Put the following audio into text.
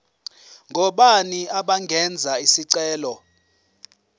ngobani abangenza isicelo